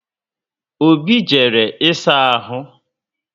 Obi jere ị saa ahụ